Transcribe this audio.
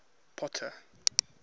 potter